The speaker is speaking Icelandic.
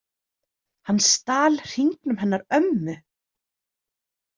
Hann stal hringnum hennar ömmu